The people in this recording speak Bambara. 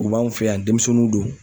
U b'anw fɛ yan denmisɛnninw do.